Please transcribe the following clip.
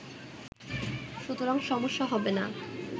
সুতরাং সমস্যা হবেনা